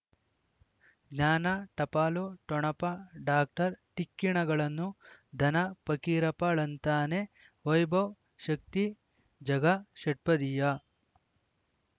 ಜ್ಞಾನ ಟಪಾಲು ಠೊಣಪ ಡಾಕ್ಟರ್ ಢಿಕ್ಕಿ ಣಗಳನು ಧನ ಪಕೀರಪ್ಪ ಳಂತಾನೆ ವೈಭವ್ ಶಕ್ತಿ ಝಗಾ ಷಟ್ಪದಿಯ